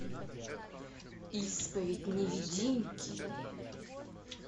исповедь невидимки